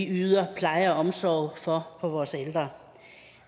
yder pleje og omsorg for vores ældre